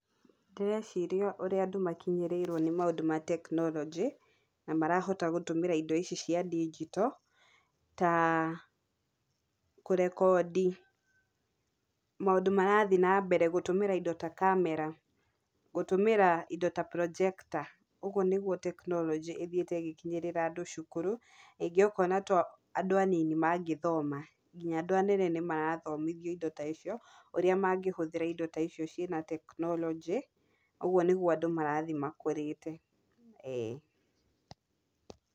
Ndĩreciria ũrĩa andũ makinyĩrĩrwo nĩ maũndũ ma teknorojĩ, na marahota gũtũmĩra indo ici cia ndigito ,ta kũrekondi maũndũ marathiĩ na mbere gũtũmĩra indo ta kamera, gũtũmĩra indo ta projector , ũgũo nĩgũo teknorojĩ ĩthiĩte ĩgĩkinyĩrĩra andũ cũkũrũ, rĩngĩ okona to andũ anini mangĩthoma, nginya andũ anene nĩmarathomio indo ta icio, ũrĩa mangĩhũthĩra indo ici cina teknorojĩ, ũgũo nĩgũo andũ marathiĩ makũrĩte ĩĩ.